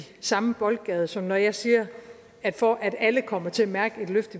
samme boldgade som når jeg siger at for at alle kommer til at mærke et løft